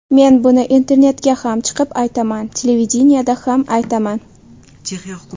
Men buni internetga ham chiqib aytaman, televideniyeda ham aytaman.